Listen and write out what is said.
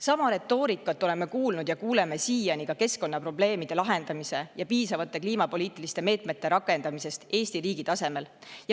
Sama retoorikat oleme kuulnud ja kuuleme siiani ka siis, kui räägitakse keskkonnaprobleemide lahendamisest ja piisavate kliimapoliitiliste meetmete rakendamisest Eesti riigi tasemel.